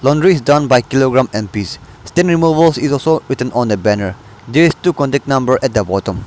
laundry is done by kilogramme and piece stain removals is also written on the banner there is two contact number at the bottom.